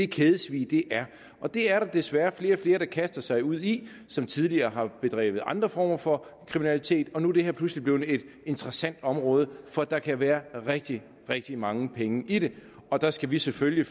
kædesvig er det er der desværre flere og flere der kaster sig ud i som tidligere har begået andre former for kriminalitet og nu er det her pludselig blevet et interessant område for der kan være rigtig rigtig mange penge i det og der skal vi selvfølgelig